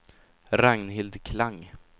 Ragnhild Klang